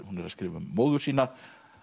hún er að skrifa um móður sína